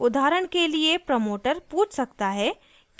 उदाहरण के लिए प्रमोटर पूछ सकता है